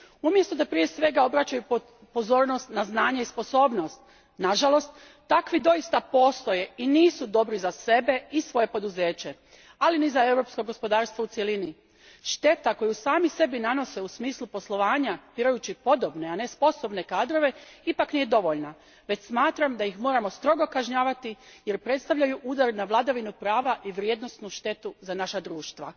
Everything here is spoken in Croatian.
Umjesto da prije svega obraćaju pozornost na znanje i sposobnost, nažalost takvi doista postoje i nisu dobri za sebe i svoje poduzeće, ali ni za europsko gospodarstvo u cjelini. Šteta koju sami sebe nanose u smislu poslovanja, birajući podobne a ne sposobne kadrove, ipak nije dovoljna, već smatram da ih moramo strogo kažnjavati, jer predstavljaju udar na vladavinu prava i vrijednosnu štetu za naša društva.